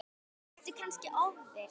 Ertu kannski ofvirk?